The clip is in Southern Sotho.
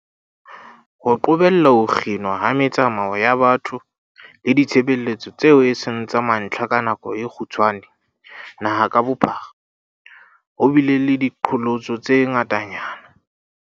Ho qobella ho kginwa ha me-tsamao ya batho le ditshebeletso tseo eseng tsa mantlha ka nako e kgutshwane naha ka bophara, ho bile le diqholotso tse ngata-nyana.